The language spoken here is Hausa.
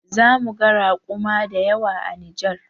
Zamuga raƙuma dayawa a Nijar